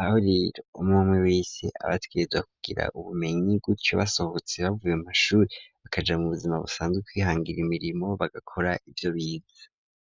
aho rero umuntu wese aba ategerezwa kugira ubumenyi gutyo basohotse bavuye mu mashuri bakaja mu buzima busanzwe kwihangira imirimo bagakora ivyo bize.